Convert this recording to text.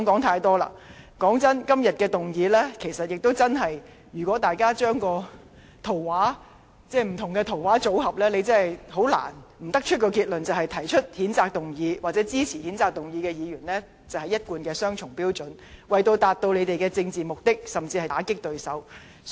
坦白說句，就今天的議案，如果大家把不同的圖畫組合起來，便不難得出一個結論，就是提出譴責議案或支持該議案的議員一貫地持雙重標準，為達致自己的政治目的，甚至是打擊對手。